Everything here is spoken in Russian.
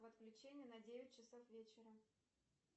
отключение на девять часов вечера